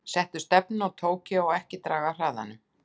Settu stefnuna á Tókýó og ekki draga af hraðanum.